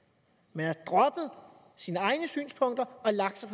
man har droppet sine egne synspunkter og lagt sig